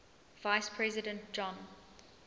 vice president john